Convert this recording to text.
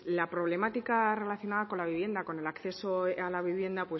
la problemática relacionada con la vivienda con el acceso a la vivienda